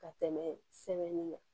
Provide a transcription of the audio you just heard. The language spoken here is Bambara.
Ka tɛmɛ sɛbɛnni kan